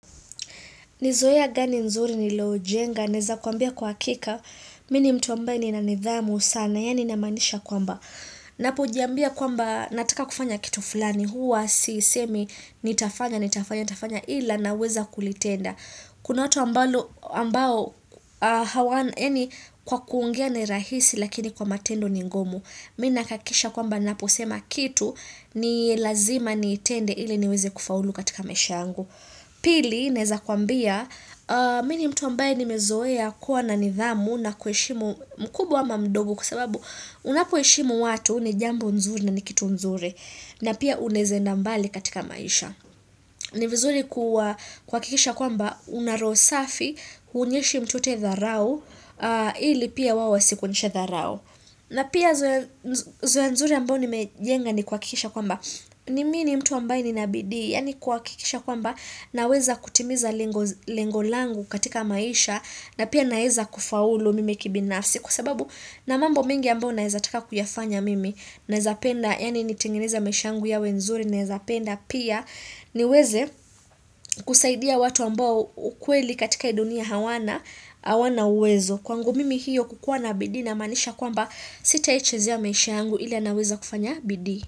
Ni zoea gani nzuri niloojenga, naeza kuambia kwa uhakika, mimi ni mtu ambaye nina nidhamu sana, yaani namaanisha kwamba. Napojiambia kwamba nataka kufanya kitu fulani, huwa siisemi nitafanya, nitafanya, nitafanya ila naweza kulitenda. Kuna watu ambao hawana yaani kwa kuongea ni rahisi lakini kwa matendo ni ngumu. Mimi nahakikisha kwamba naposema kitu ni lazima nitende ili niweze kufaulu katika maisha yangu. Pili, naeza kuambia, mimi ni mtu ambaye nimezoea kuwa na nidhamu na kuheshimu mkubwa ama mdogo kwa sababu unapoheshimu watu ni jambo nzuri na ni kitu nzuri na pia unaeze enda mbali katika maisha. Ni vizuri kuhakikisha kwamba una roho safi huonyeshi mtu yeyote dharau ili pia wao wasikuonyeshe dharau. Na pia zoea nzuri ambao nimejenga ni kuhakikisha kwamba mimi ni mtu ambaye nina bidii yaani kuhakikisha kwamba naweza kutimiza lengo langu katika maisha na pia naeza kufaulu mimi kibinafsi kwa sababu na mambo mengi ambayo naeza taka kuyafanya mimi naeza penda yaani nitengeneza maisha yangu yawe nzuri naeza penda pia niweze kusaidia watu ambao ukweli katika hii dunia hawana hawana uwezo. Kwangu mimi hiyo kukua na bidii inamaanisha kwamba sitai chezea maisha yangu ila naweza kufanya bidii.